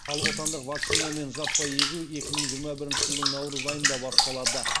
ал отандық вакцинамен жаппай егу екі мың жиырма бірінші жылдың наурыз айында басталады